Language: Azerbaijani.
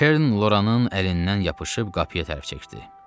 Keren Loranın əlindən yapışıb qapıya tərəf çəkdi.